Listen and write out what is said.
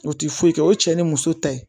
O ti foyi kɛ o cɛ ni muso ta ye